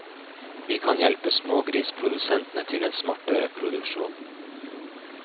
Vi kan hjelpe smågrisprodusentene til en smartere produksjon.